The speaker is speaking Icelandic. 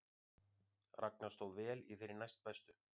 Ragna stóð vel í þeirri næstbestu